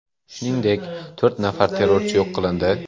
Shuningdek, to‘rt nafar terrorchi yo‘q qilindi .